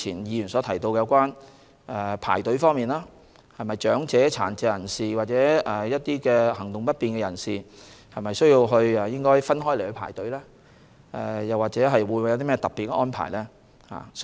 議員提及排隊問題，質疑為何長者、殘疾和行動不便的人士沒有分開處理，或作其他特別安排。